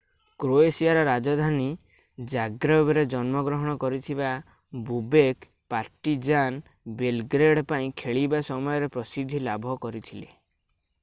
କ୍ରୋଏସିଆର ରାଜଧାନୀ ଜାଗ୍ରେବରେ ଜନ୍ମଗ୍ରହଣ କରିଥିବା ବୋବେକ୍ ପାର୍ଟିଜାନ୍ ବେଲଗ୍ରେଡ୍ ପାଇଁ ଖେଳିବା ସମୟରେ ପ୍ରସିଦ୍ଧି ଲାଭ କରିଥିଲେ